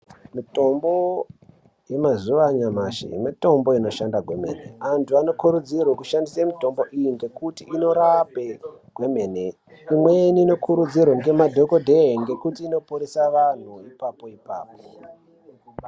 Mitombo yemazuva anyamashi mitombo inoshanda kwemene antu anokurudzirwa kushandisa mitombo iyi ngekuti inorapa kwemene imweni inokurudzirwa nemadhokodheya ngekuti inoporesa antu ipapo ipapo.